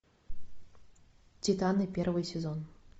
титаны первый сезон